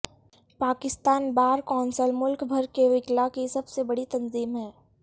Pakistan bar council ملک بھر کے وکلا کی سب سے بڑی تنظیم ہے